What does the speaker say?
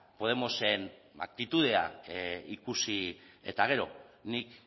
podemosen aktitudea ikusi eta gero nik